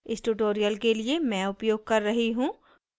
इस tutorial के लिए मैं उपयोग कर रही हूँ